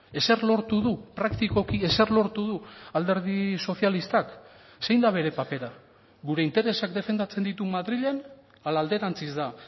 ezer lortu du praktikoki ezer lortu du alderdi sozialistak zein da bere papera gure interesak defendatzen ditu madrilen ala alderantziz da